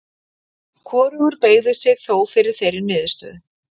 Hvorugur beygði sig þó fyrir þeirri niðurstöðu.